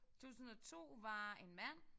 2002 var en mand